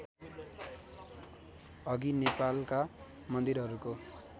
अघि नेपालका मन्दिरहरूको